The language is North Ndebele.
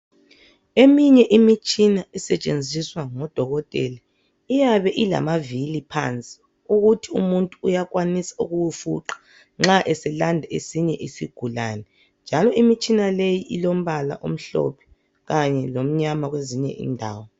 Eminye imitshina esetshenziswa ngodokotela iyabe ilamavili phansi ukuthi umuntu uyakwanisa ukuwufuqa nxa eselanda esinye isigulane njalo imitshina leyi ilombala omhlophe kanye lomnyama kwezinye indawo.